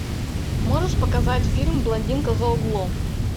можешь показать фильм блондинка за углом